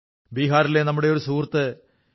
ബിഹാറിലെ നമ്മുടെ ഒരു സുഹൃത്ത് ശ്രീ